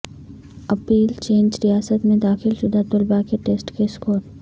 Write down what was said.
اپیلچینج ریاست میں داخل شدہ طلباء کے ٹیسٹ کے اسکور